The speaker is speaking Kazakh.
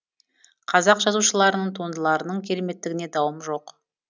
қазақ жазушыларының туындыларының кереметтігіне дауым жоқ